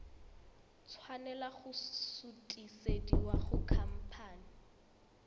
tshwanela go sutisediwa go khamphane